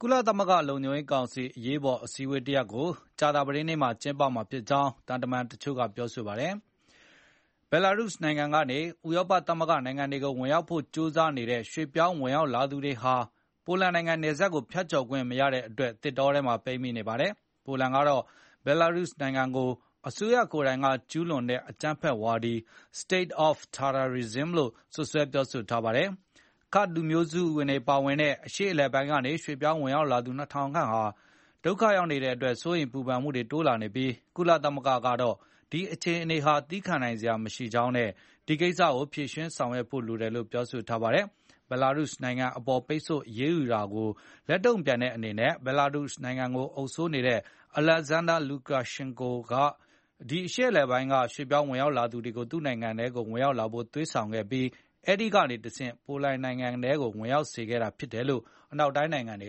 ကုလသမဂ္ဂလုံခြုံရေးကောင်စီ အရေးအပေါ်အစည်းအဝေးတရပ်ကို ကြာသာပတေးနေ့ ကျင်းပမှာဖြစ်ကြောင်း သံတမန်တချို့ကပြောပါတယ်။ ဘယ်လာရုစ် နိုင်ငံကနေ ဥရောပသမဂ္ဂနိုင်ငံတွေကို ဝင်ရောက်ဖို့ ကျိုးစားနေတဲ့ ရွှေ့ပြောင်းဝင်ရောက် လာသူတွေဟာ ပိုလန်နိုင်ငံ နယ်စပ်ကိုဖြတ်ကျော်ခွင့် မရတဲ့အတွက် သစ်တောထဲမှာ ပိတ်မိနေပါတယ်။ ပိုလန်ကတော့ ဘယ်လာရုစ်နိုင်ငံကို အစိုးရကိုယ်တိုင်က ကျူးလွန်တဲ့ အကြမ်းဖက်ဝါဒီ State of Terrorism လို့ စွပ်စွဲပြောဆိုထားပါတယ်။ Kurds ကာ့ဒ်လူမျိုးစုဝင်တွေ အများစုပါဝင်တဲ့ အရှေ့အလယ်ပိုင်းကနေ ရွှေ့ပြောင်းဝင်ရောက်သူ ၂၀၀၀ ခန့်ဟာ ဒုက္ခရောက်နေတဲ့အတွက် စိုးရိမ်ပူပန်မှု တိုးလာနေပြီး၊ ကုလသမဂ္ဂကတော့ ဒီအခြေအနေဟာ သည်းခံနိုင်စရာ မရှိကြောင်းနဲ့ ဒီကိစ္စကို ဖြေရှင်းဆောင်ရွက်ဖို့ လိုတယ်လို့ ပြောဆိုထားပါတယ်။ ဘယ်လာရုစ်နိုင်ငံအပေါ် ပိတ်ဆို့အရေးယူတာကို လက်တုန့်ပြန်တဲ့အနေနဲ့ ဘယ်လာရုစ်နိုင်ငံကို အုပ်စိုးနေတဲ့ Alexander Lukashenko က ဒီအရှေ့အလယ်ပိုင်းက ရွှေ့ပြောင်း ဝင်ရောက်လာသူတွေကို သူ့ နိုင်ငံထဲ ဝင်ရောက်လာဖို့ သွေးဆောင်ခဲ့ပြီး၊ အဲဒီကနေတဆင့် ပိုလန်နိုင်ငံထဲကို ဝင်ရောက်စေခဲ့တာ ဖြစ်တယ်လို့ အနောက်တိုင်းနိုင်ငံတွေက